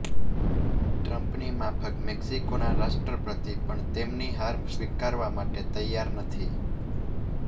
ટ્રમ્પની માફક મેક્સિકોના રાષ્ટ્રપતિ પણ તેમની હાર સ્વીકારવા માટે તૈયાર નથી